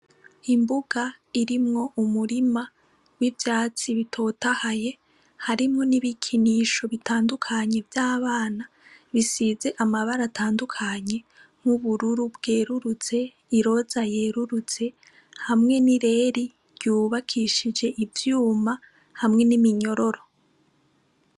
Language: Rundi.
Imbuga irimwo umurima w' ivyatsi bitotahaye harimwo n' ibikinisho bitandukanye vy' abana bisize amabara atandukanye y' ubururu bweruruze iroza yeruruze hamwe n' ireri ryubakishije ivyuma hamwe n' iminyororo.